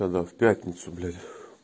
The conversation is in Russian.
тогда в пятницу блять